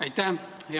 Aitäh!